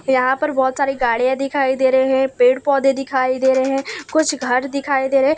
यहां पर बहोत सारी गाड़ियां दिखाई दे रहे हैं पेड़ पौधे दिखाई दे रहे हैं कुछ घर दिखाई दे रहे--